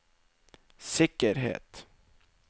sikkerhet